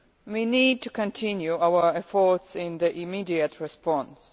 We need to continue our efforts in the immediate response.